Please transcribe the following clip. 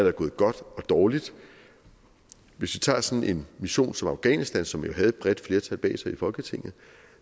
er gået godt og dårligt hvis vi tager sådan en mission som afghanistan som jo havde et bredt flertal bag sig i folketinget